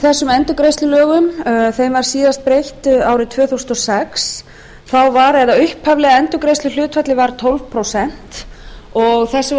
þessum endurgreiðslulögum var síðast breytt árið tvö þúsund og sex þá var eða upphaflega endurgreiðsluhlutfallið tólf prósent og þessu var